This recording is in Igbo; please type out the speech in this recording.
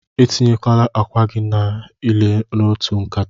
Etinyekwala akwa gi nile n'otu nkata!